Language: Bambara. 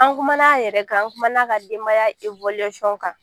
An kumana a yɛrɛ kan, an kumana a ka denbaya kan